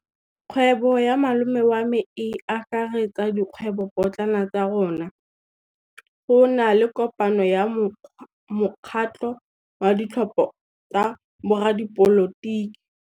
Kgwêbô ya malome wa me e akaretsa dikgwêbôpotlana tsa rona. Go na le kopanô ya mokgatlhô wa ditlhopha tsa boradipolotiki.